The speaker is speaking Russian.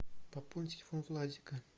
пополни телефон владика